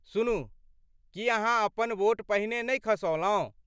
सुनू, की अहाँ अपन वोट पहिने नहि खसौलहुँ?